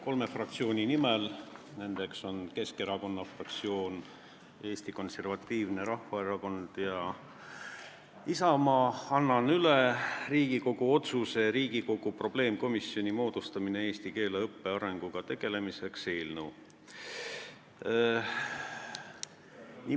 Kolme fraktsiooni, Eesti Keskerakonna, Eesti Konservatiivse Rahvaerakonna ja Isamaa fraktsiooni nimel annan üle Riigikogu otsuse "Riigikogu probleemkomisjoni moodustamine eesti keele õppe arenguga tegelemiseks" eelnõu.